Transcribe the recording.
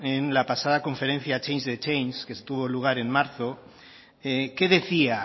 en la pasada conferencia change the change que tuvo lugar en marzo qué decía